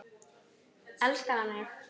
Elskar hann mig?